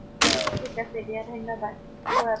ঠিক আছে দিয়া, ধন্য়্বাদ। সুভৰাত্ৰী।